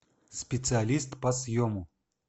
специалист по съему